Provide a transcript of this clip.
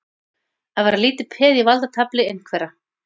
Að vera lítið peð í valdatafli einhverra